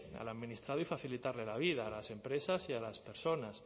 al administrado y facilitarle la vida a las empresas y a las personas